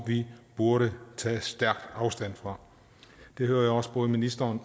det burde vi tage stærk afstand fra det hører jeg også både ministeren